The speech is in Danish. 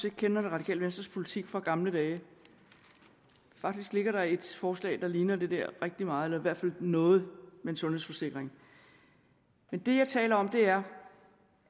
ikke kender det radikale venstres politik fra gamle dage faktisk ligger der et forslag der ligner det der rigtig meget eller i hvert fald noget med en sundhedsforsikring men det jeg taler om er